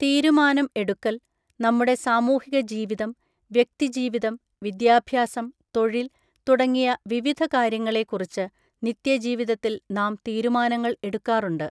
തീരുമാനം എടുക്കൽ, നമ്മുടെ സാമൂഹിക ജീവിതം, വ്യക്തി ജീവിതം, വിദ്യാഭ്യാസം, തൊഴിൽ തുടങ്ങിയ വിവിധ കാര്യങ്ങളെ കുറിച്ച് നിത്യ ജീവിതത്തിൽ നാം തീരുമാനങ്ങൾ എടുക്കാറുണ്ട്.